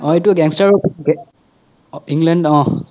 অহ এইতো gang star অৰ ওপৰত gang অ england অহ